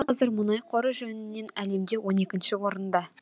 қазір мұнай қоры жөнінен әлемде он екінші орында